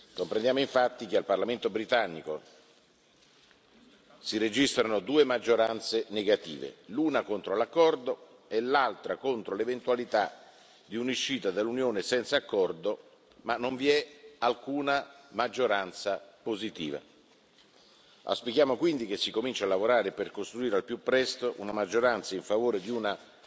Comprendiamo, infatti, che al parlamento britannico si registrano due maggioranze negative, l'una contro l'accordo e l'altra contro l'eventualità di un'uscita dall'Unione senza accordo, ma non vi è alcuna maggioranza positiva. Auspichiamo quindi che si cominci a lavorare per costruire al più presto una maggioranza a favore di una